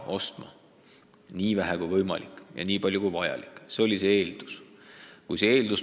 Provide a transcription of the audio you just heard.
Osta nii vähe kui võimalik ja nii palju kui vajalik – see oli eesmärk.